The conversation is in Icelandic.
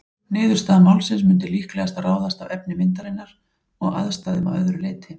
Niðurstaða málsins mundi líklegast ráðast af efni myndarinnar og aðstæðum að öðru leyti.